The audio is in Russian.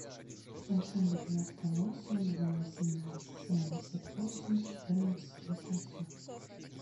семьсот девяносто восемь два восемнадцать семьдесят восемь четырнадцать восемьсот